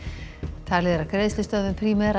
talið er að greiðslustöðvun Primera